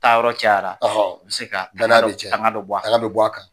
Taa yɔrɔ cayara bɛ se ka, danaya bi tiɲɛ , tanga bi bɔ a kan.